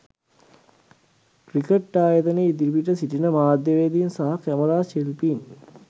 cricket ආයතනය ඉදිරිපිට සිටින මාධ්‍යවේදීන් සහ කැමරාශිල්පීන්